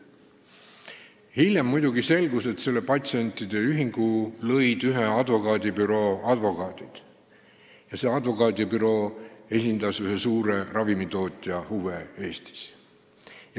Hiljem selgus, et selle patsientide ühingu lõid ühe advokaadibüroo advokaadid ja see advokaadibüroo esindas ühe suure ravimitootja huve Eestis.